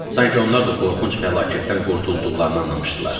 Sanki onlar da qorxunc fəlakətdən qurtulduqlarını anlamışdılar.